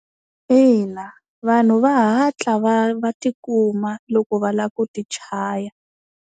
Ina, vanhu va hatla va va ti kuma loko va lava ku ti chaya.